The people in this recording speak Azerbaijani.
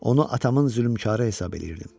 Onu atamın zülmkarı hesab eləyirdim.